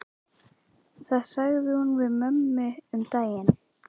Það sagði hún við mömmu um daginn.